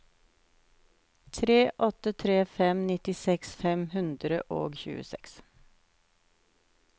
tre åtte tre fem nittiseks fem hundre og tjueseks